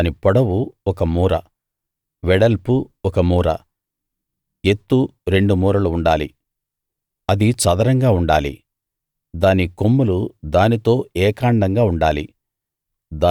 దాని పొడవు ఒక మూర వెడల్పు ఒక మూర ఎత్తు రెండు మూరలు ఉండాలి అది చదరంగా ఉండాలి దాని కొమ్ములు దానితో ఏకాండంగా ఉండాలి